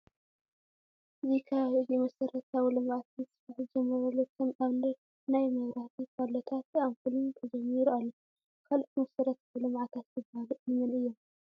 እዚ ከባቢ እዚ መሰረታዊ ልምዓት ምስፋሕ ዝተጀመረሉ ከም ኣብነት፡ናይ መብራህቲ ፓሎታት ኣፑልን ተጀሚሩ ኣሎ። ካልኦት መሰረታዊ ልምዓታት ዝበሃሉ እንመን እዮም ?